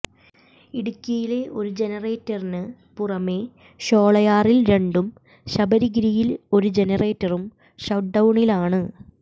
ഇടുക്കിയിലെ ഒരു ജനറേറ്ററിന് പുറമെ ഷോളയാറിൽ രണ്ടും ശബരിഗിരിയിൽ ഒരു ജനറേറ്ററും ഷട്ട് ഡൌണിലാണ്